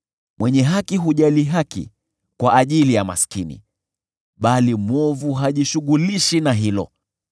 Mwenye haki hujali haki kwa ajili ya maskini, bali mwovu hajishughulishi na hilo.